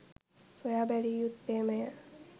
සොයා බැලිය යුත්තේමය.